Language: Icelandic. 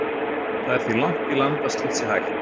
Það er því langt í land að slíkt sé hægt.